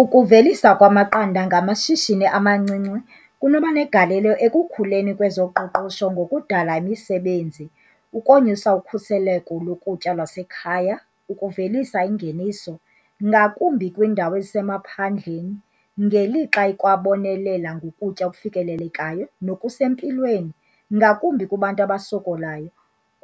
Ukuvelisa kwamaqanda ngamashishini amancinci kunoba negalelo ekukhuleni kwezoqoqosho ngokudala imisebenzi, ukonyusa ukhuseleko lokutya lwasekhaya, ukuvelisa ingeniso ngakumbi kwiindawo ezisemaphandleni ngelixa ikwabonelela ngokutya okufikelelekayo nokusempilweni ngakumbi kubantu abasokolayo.